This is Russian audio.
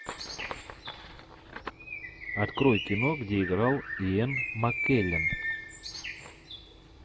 открой кино где играл иэн маккеллен